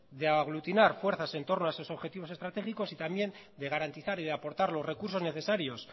de aglutinar fuerzas en torno a esos objetivos estratégicos y también de garantizar y de aportar los recursos necesarios